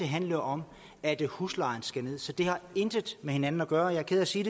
handle om at huslejen skal nederst så det har intet med hinanden at gøre jeg er ked af at sige